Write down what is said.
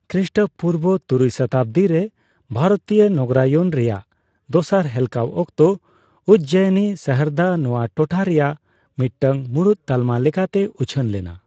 ᱠᱷᱨᱤᱥᱴᱚᱯᱩᱨᱵᱚ ᱛᱩᱨᱩᱭ ᱥᱚᱛᱟᱵᱫᱤ ᱨᱮ ᱵᱷᱟᱨᱚᱛᱤᱭᱟᱹ ᱱᱚᱜᱚᱨᱟᱭᱚᱱ ᱨᱮᱭᱟᱜ ᱫᱚᱥᱟᱨ ᱦᱮᱞᱠᱟᱣ ᱚᱠᱛᱚ, ᱩᱡᱽᱡᱚᱭᱤᱱᱤ ᱥᱟᱦᱟᱨᱫᱚ ᱱᱚᱣᱟ ᱴᱚᱴᱷᱟ ᱨᱮᱭᱟᱜ ᱢᱤᱫᱴᱟᱝ ᱢᱩᱲᱩᱫ ᱛᱟᱞᱢᱟ ᱞᱮᱠᱟᱛᱮ ᱩᱪᱷᱟᱹᱱ ᱞᱮᱱᱟ ᱾